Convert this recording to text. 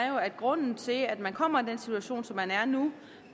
jo er at grunden til at man kommer i den situation som man er i nu